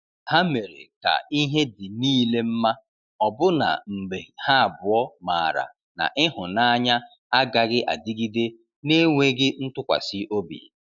Ha mere ka ihe dị niile mma, ọbụna mgbe ha abụọ maara na ịhụnanya agaghị adịgide na-enweghị ntụkwasị obi.